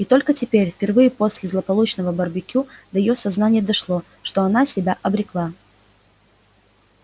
и только теперь впервые после злополучного барбекю до её сознания дошло что она себя обрекла